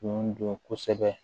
Kun don kosɛbɛ